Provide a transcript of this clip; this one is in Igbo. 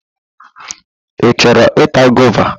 Ị chọrọ ịta gova?